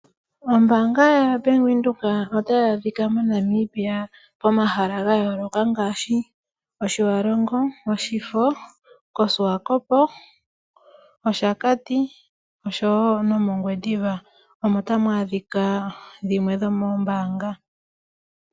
Ombaanga yaVenduka otayi adhika moNamibia pomahala ga yooloka ngaashi Otjiwarongo, Oshifo, koSwakpmund, Oshakati oshowo nomOngwediva omo tamu adhika dhimwe dhomoombaanga.